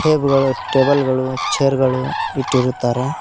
ಬ್ ಗಳು ಟೇಬಲ್ ಗಳು ಚೇರ್ ಗಳು ಇಟ್ಟಿರುತ್ತಾರೆ.